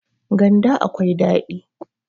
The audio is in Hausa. ganda akwai dadi